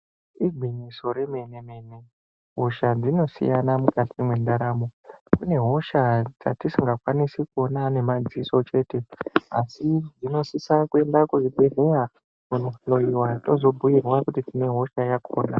Igwinyiso remene mene hosha dzinosiyana mukati mwendaramo, kune hosha dzatisingakwanisi kuona nemadziso chete asi zvinosisa kuenda kuzvibhedhlera kunohloiwa tozobhoirwa kuzi tine hosha yakona.